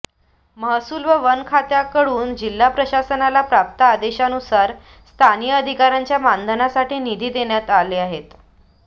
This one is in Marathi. महसूल व वन खात्याकडून जिल्हा प्रशासनाला प्राप्त आदेशानुसार स्थानिक अधिकाऱ्याच्या मानधनासाठी निधी देण्यात आले आहेत